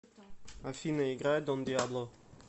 афина играй дон диабло